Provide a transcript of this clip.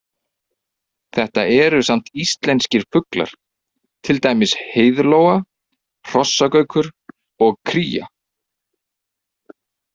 Þetta eru samt íslenskir fuglar, til dæmis heiðlóa, hrossagaukur og kría.